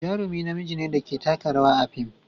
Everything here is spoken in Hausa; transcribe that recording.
Jarumi namiji ne da ke taka rawa a fim.